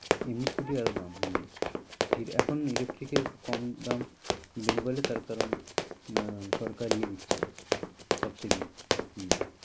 এমনি scooty আরও দাম হম এখন electric এর একটু কম দাম bengali তার কারণ আহ সরকার ইয়ে দিচ্ছে subsidy দিচ্ছে হম